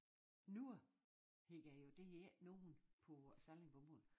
Nogen hedder jo det hedder jo ikke nogen på sallingbomål